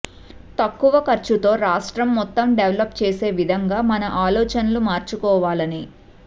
తక్కువ ఖర్చుతో రాష్ట్రం మొత్తం డెవలప్ చేసే విధంగా మన ఆలోచనలు మార్చుకోవాలని